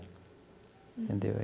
Entendeu?